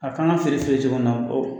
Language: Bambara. A k'an ka fere fere cogo min na